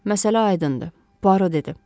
Məsələ aydındır, Buaro dedi.